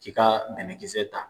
K'i ka dɛmɛkisɛ ta.